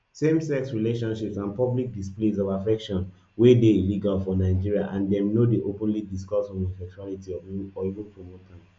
samesex relationships and public displays of affection wey dey illegal for nigeria and dem no dey openly discuss homosexuality or even promote am